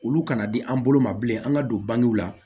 Olu kana di an bolo ma bilen an ka don bangew la